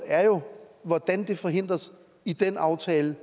er jo hvordan det forhindres i den aftale